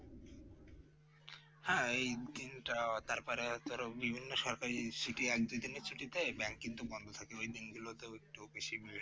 হ্যাঁ এই কিংবা তারপরে বিভিন্ন সরকারি ছুটিতে bank কিন্তু বন্ধ থাকে ঐ দিনগুলোতে একটু বেশি